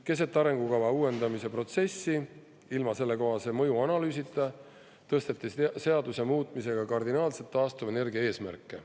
Keset arengukava uuendamise protsessi, ilma sellekohase mõjuanalüüsita tõsteti seaduse muutmisega kardinaalselt taastuvenergia eesmärke.